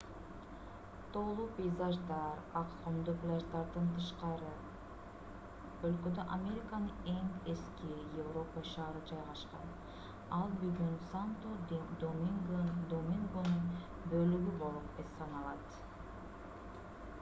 тоолуу пейзаждар ак кумдуу пляждардан тышкары өлкөдө американын эң эски европа шаары жайгашкан ал бүгүн санто-домингонун бөлүгү болуп саналат